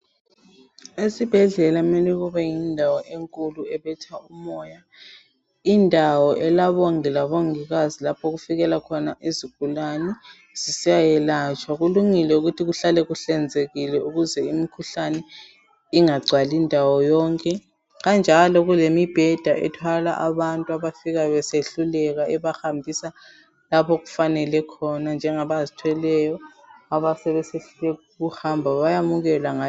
Esibhedlela kumele kube yindawo enkulu ebetha umoya. Indawo elabongi labongikazi lapho okufikela khona izigulani zisiya yelatshwa. Kulungile ukuthi kuhlale kuhlanzekile ukuze imihlane ingagcwali indawo yonke. Kanjalo kulemibheda ethwala abantu abafika besehluleka bebahambisa lapho okufanele khona njengabazithweyo asebesehluleka ukuhamba bayemukelwa.